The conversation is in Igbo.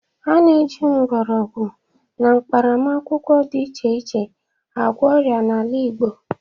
A na-eji mgbọrọgwụ na mkparamakwụkwọ dị iche agwọ ọria n'ala Igbo.